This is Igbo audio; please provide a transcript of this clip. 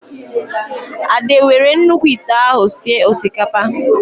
Ade were nnukwu ịte ahụ sịe osikapa